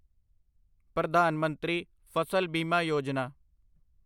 ਪ੍ਰਧਾਨ ਮੰਤਰੀ ਫਸਲ ਬੀਮਾ ਯੋਜਨਾ